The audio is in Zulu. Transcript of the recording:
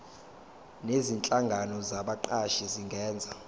nezinhlangano zabaqashi zingenza